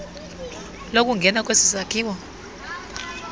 lokungena kwesi sakhiwo